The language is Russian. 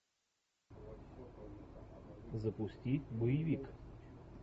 запусти боевик